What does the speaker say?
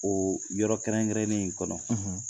Oo yɔrɔ kɛrɛnkɛrɛnnen in kɔnɔ